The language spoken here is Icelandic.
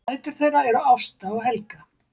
Dætur þeirra eru Ásta og Helga